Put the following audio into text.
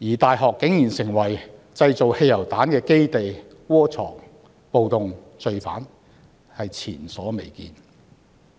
大學變成了製造汽油彈的基地，窩藏暴動罪犯，更是前所未見。